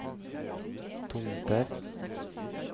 Tomter